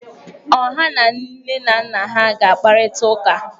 Ọ ha na nne na nna ha ga kparIta uka?